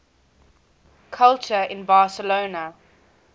culture in barcelona